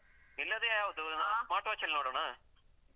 ಇಲ್ಲಾಂದ್ರೆ ಯಾವ್ದು? smart watch ಲ್ಲಿ ನೋಡೋದಾ?